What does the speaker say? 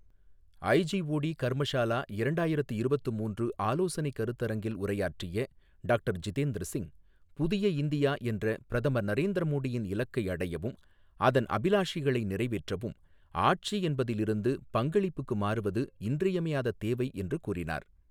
IGOT Karmashala இரண்டாயிரத்து இருபத்து மூன்று ஆலோசனை கருத்தரங்கில் உரையாற்றிய டாக்டர் ஜிதேந்திர சிங், புதிய இந்தியா என்ற பிரதமர் நரேந்திர மோடியின் இலக்கை அடையவும், அதன் அபிலாஷைகளை நிறைவேற்றவும், ஆட்சி என்பதில் இருந்து பங்களிப்புக்கு மாறுவது இன்றியமையாத தேவை என்று கூறினார்.